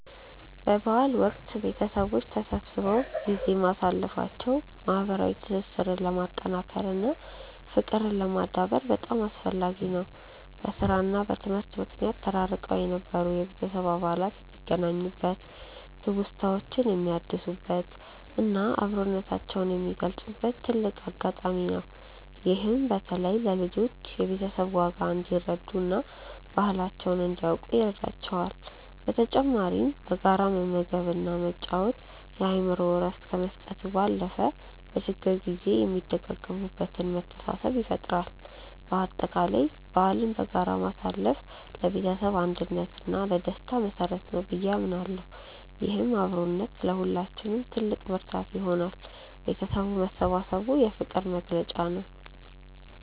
በበዓል ወቅት ቤተሰቦች ተሰብስበው ጊዜ ማሳለፋቸው ማህበራዊ ትስስርን ለማጠናከር እና ፍቅርን ለማዳበር በጣም አስፈላጊ ነው። በስራ እና በትምህርት ምክንያት ተራርቀው የነበሩ የቤተሰብ አባላት የሚገናኙበት፣ ትውስታዎችን የሚያድሱበት እና አብሮነታቸውን የሚገልጹበት ትልቅ አጋጣሚ ነው። ይህም በተለይ ለልጆች የቤተሰብን ዋጋ እንዲረዱ እና ባህላቸውን እንዲያውቁ ይረዳቸዋል። በተጨማሪም በጋራ መመገብ እና መጫወት የአእምሮ እረፍት ከመስጠቱ ባለፈ፣ በችግር ጊዜ የሚደጋገፉበትን መተሳሰብ ይፈጥራል። በአጠቃላይ በዓልን በጋራ ማሳለፍ ለቤተሰብ አንድነት እና ለደስታ መሰረት ነው ብዬ አምናለሁ። ይህም አብሮነት ለሁላችንም ትልቅ ብርታት ይሆናል። ቤተሰብ መሰባሰቡ የፍቅር መግለጫ ነው።